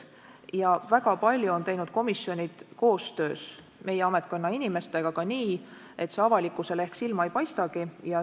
Ja väga palju on teinud komisjonid koostöös meie ametkonna inimestega ka nii, et see avalikkusele ehk silma ei paistagi.